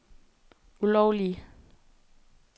ulovlige